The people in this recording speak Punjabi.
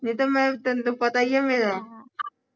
ਨਹੀਂ ਤੇ ਮੈਂ ਤੈਨੂੰ ਤਾਂ ਪਤਾ ਈ ਆ ਮੇਰਾ